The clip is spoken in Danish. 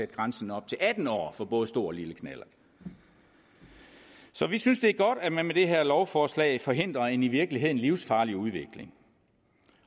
grænsen op til atten år for både stor og lille knallert så vi synes det er godt at man med det her lovforslag forhindrer en i virkeligheden livsfarlig udvikling